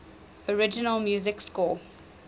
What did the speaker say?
original music score